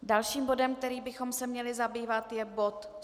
Dalším bodem, kterým bychom se měli zabývat, je bod